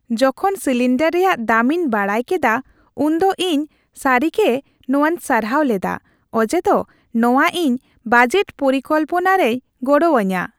ᱡᱚᱠᱷᱚᱱ ᱥᱤᱞᱤᱱᱰᱟᱨ ᱨᱮᱭᱟᱜ ᱫᱟᱢᱤᱧ ᱠᱮᱫᱟ ᱩᱱᱫᱚ ᱤᱧ ᱥᱟᱹᱨᱤᱜᱮ ᱱᱚᱶᱟᱧ ᱥᱟᱨᱦᱟᱣ ᱞᱮᱫᱟ ᱚᱡᱮᱫᱚ ᱱᱚᱶᱟ ᱤᱧ ᱵᱟᱡᱮᱴ ᱯᱚᱨᱤᱠᱚᱞᱯᱚᱱᱟ ᱨᱮᱭ ᱜᱚᱲᱚ ᱟᱹᱧᱟ ᱾